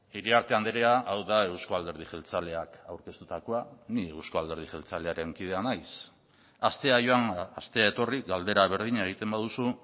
iriarte andrea hau da euzko alderdi jeltzaleak aurkeztutakoa ni euzko alderdi jeltzalearen kidea naiz astea joan astea etorri galdera berdina egiten baduzu